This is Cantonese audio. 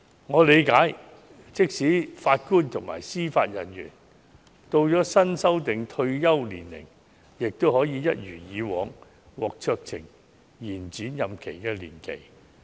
我理解，即使法官及司法人員到了新訂退休年齡，也可以一如以往，獲酌情延展任期年期。